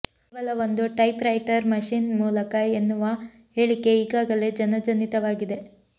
ಕೇವಲ ಒಂದು typewriter machine ಮೂಲಕ ಎನ್ನುವ ಹೇಳಿಕೆ ಈಗಾಗಲೇ ಜನಜನಿತವಾಗಿದೆ